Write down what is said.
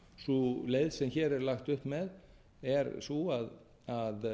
sú leið sem hér er lagt upp með er sú að